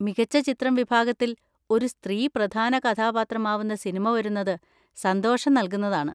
മികച്ച ചിത്രം വിഭാഗത്തിൽ ഒരു സ്ത്രീ പ്രധാന കഥാപാത്രമാവുന്ന സിനിമ വരുന്നത് സന്തോഷം നൽകുന്നതാണ്.